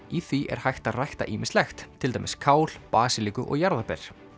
í því er hægt er að rækta ýmislegt til dæmis kál basilíku og jarðarber